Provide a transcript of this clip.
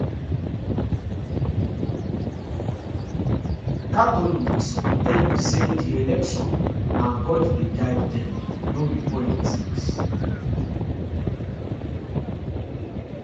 catholics go tell you say di election na god dey guide dem no be politics